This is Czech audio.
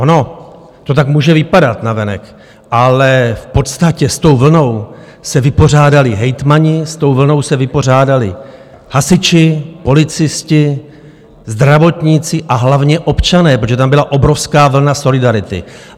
Ono to tak může vypadat navenek, ale v podstatě s tou vlnou se vypořádali hejtmani, s tou vlnou se vypořádali hasiči, policisté, zdravotníci a hlavně občané, protože tam byla obrovská vlna solidarity.